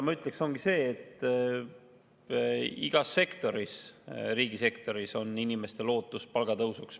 Ma ütleksin seda, et loomulikult on igas sektoris, ka riigisektoris inimestel ootus palgatõusuks.